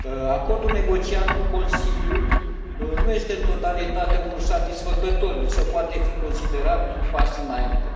Acordul negociat cu Consiliul nu este în totalitate unul satisfăcător, însă poate fi considerat un pas înainte.